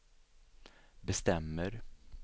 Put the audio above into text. bestämmer